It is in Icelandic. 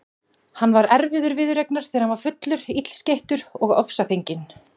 Hann var erfiður viðureignar þegar hann var fullur, illskeyttur og ofsafenginn.